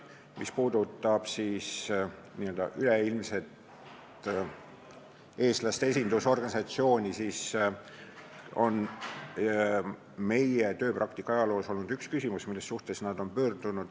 Mis puutub üleilmsesse eestlaste esindusorganisatsiooni, siis meie tööpraktika ajaloo jooksul on nad meie poole pöördunud ühe küsimusega.